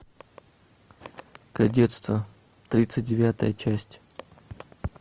кадетство тридцать девятая часть